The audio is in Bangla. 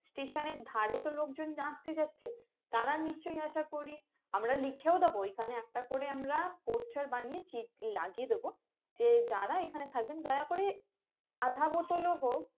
Station এর ধরে তো লোকজন জাজতে যাচ্ছে তারা নিশ্চয় আসা করি আমরা লিখেও দেব এখানে একটা করে আমরা poster বানিয়ে লাগিয়ে দেব যে যারা এখানে থাকবেন দয়া করে আধা বোতলও হোক